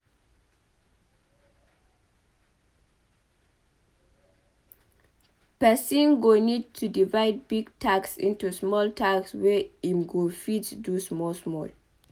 Person go need to divide big tasks into small tasks wey im go fit do small small